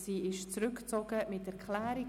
Sie wird zurückgezogen mit Erklärung.